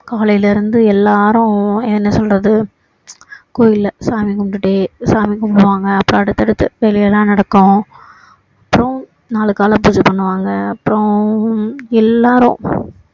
காலையில இருந்து எல்லாரும் என்ன சொல்றது கோவில்ல சாமி கும்பிட்டுட்டே சாமி கும்பிடுவாங்க அப்பறோம் அடுத்தடுத்து வேலையேல்லாம் நடக்கும் அப்பறோம் நாளைக்கு காலையில பூஜை பண்ணுவாங்க அப்பறோம் எல்லாரும்